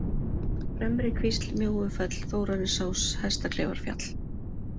Fremrikvísl, Mjóufell, Þórarinsás, Hestakleifarfjall